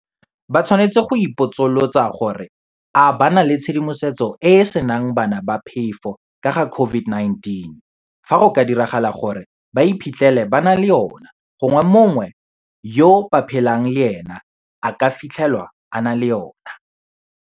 Ba tshwanetse go ipotsolotsa gore a ba na le tshedimosetso e e senang bana ba phefo ka ga COVID -19 fa go ka diragala gore ba iphitlhele ba na le yona gongwe mongwe yo ba phelang le ena a ka fitlhelwa a na le yona.